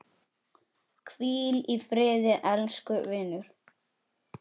Hvíl í friði elsku vinur!